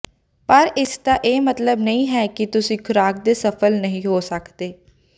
ਪਰ ਇਸ ਦਾ ਇਹ ਮਤਲਬ ਨਹੀਂ ਹੈ ਕਿ ਤੁਸੀਂ ਖੁਰਾਕ ਤੇ ਸਫਲ ਨਹੀਂ ਹੋ ਸਕਦੇ